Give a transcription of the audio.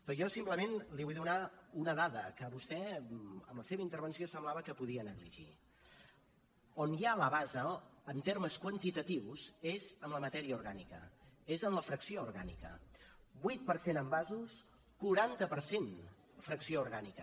però jo simplement li vull donar una dada que vostè en la seva intervenció semblava que podia negligir on hi la base en termes quantitatius és en la matèria orgànica és en la fracció orgànica vuit per cent envasos quaranta per cent fracció orgànica